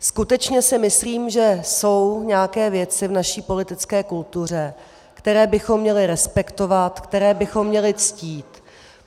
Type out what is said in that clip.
Skutečně si myslím, že jsou nějaké věci v naší politické kultuře, které bychom měli respektovat, které bychom měli ctít.